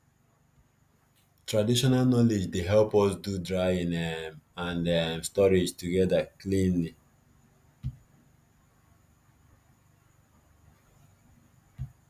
traditional knowledge dey help us do drying um and um storage together cleanly